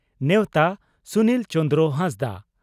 ᱱᱮᱣᱛᱟ (ᱥᱩᱱᱤᱞ ᱪᱚᱸᱫᱽᱨᱚ ᱦᱟᱸᱥᱫᱟ)